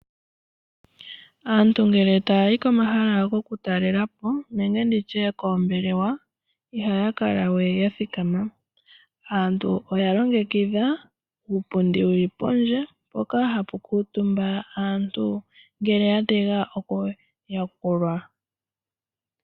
Aantu ngele taya yi komahala goku talela po nenge nditye koombelewa, ihaya kala we ya thikama. Aantu oya longekidha uupundi wuli pondje, mpoka hapu kuutumba aantu ngele ya tega oku yakulwa.